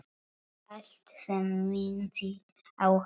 Allt sem minnti á hana.